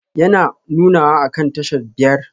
Yana nunawa akan tashar biyar?